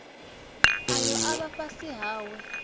ayo a vha fhasi hawe